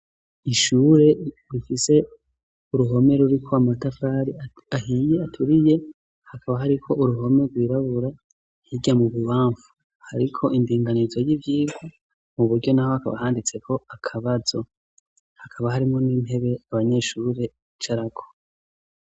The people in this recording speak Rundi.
ishure rifise uruhome ruriko amatafari ahiye aturiye. Hakaba hariko uruhome rwirabura hirya mu bubamfu. Hariko indinganizo y'ivyiga. Mu buryo n'aho hakaba handitseko akabazo. Hakaba harimo n'intebe abanyeshure bicarako.